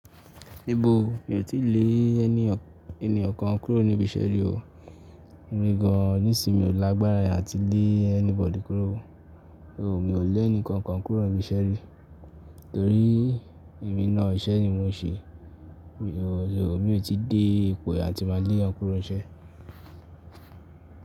Níbo? Mi ò tí lè ẹni, ènìyàn kan kúrò níbi iṣẹ́ rí o. Mi gán, nísìí mi ò lágbára e áti lé anybody kúrò. Oòo, mi ò lé ẹnìkan kan kúrò níbi iṣẹ́ rí torí èmi náà iṣẹ́ ni mò ń ṣe. Oòo, mi ò tí dé ipò atí máa lè yan kúrò ọṣẹ.